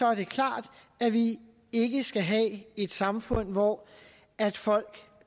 er det klart at vi ikke skal have et samfund hvor folk